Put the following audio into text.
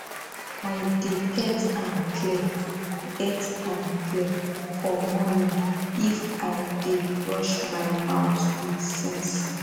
i dey get am clear get am clear for morning if i dey brush my mouth with sense